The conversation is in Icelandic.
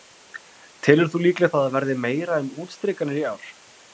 Guðný: Telur þú líklegt að það verði meira um útstrikanir í ár?